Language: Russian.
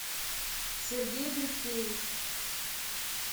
сергей бриткевич